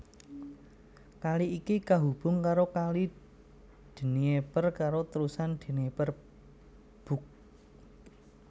Kali iki kahubung karo Kali Dnieper karo Terusan Dnieper Bug